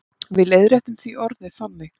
Við leiðréttum því orðið þannig.